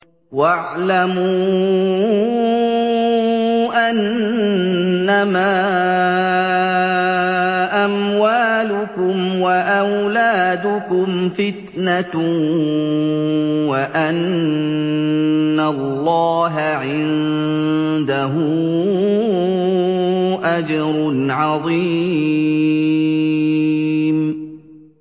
وَاعْلَمُوا أَنَّمَا أَمْوَالُكُمْ وَأَوْلَادُكُمْ فِتْنَةٌ وَأَنَّ اللَّهَ عِندَهُ أَجْرٌ عَظِيمٌ